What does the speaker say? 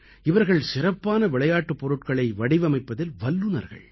இவர்கள் சிறப்பான விளையாட்டுப் பொருட்களை வடிவமைப்பதில் வல்லுநர்கள்